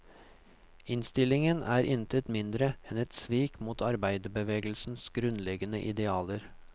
Innstillingen er intet mindre enn et svik mot arbeiderbevegelsens grunnleggende idealer.